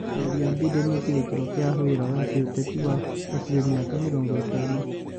Mĩario ya Biden nĩ kĩrĩkĩrĩro kĩa wĩra wa gĩũteti wa hakuhĩ mĩaka mĩrongo ĩtano.